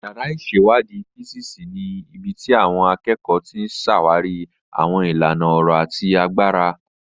Yàrá ìṣèwádìí físíìsì ni ibi tí àwọn akẹ́kọ̀ọ́ ti ń ṣàwárí àwọn ìlànà ọ̀rọ̀ àti agbára.